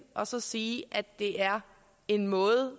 og så sige at det er en måde